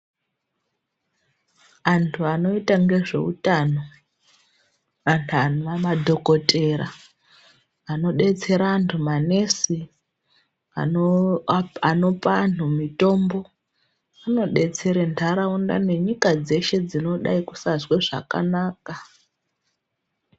Antu anoita ngezveutano antu anowa madhokotera anodetsera antu manesi anopa antu mutombo anodetsere ndaraunda nenyika dzeshe dzinodai kusazwe zvakanaka.